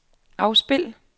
afspil